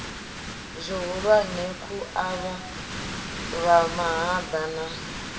zwihulwane khu avhavha mahaḓa na